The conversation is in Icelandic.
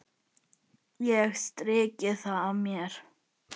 Ég strýk það af mér.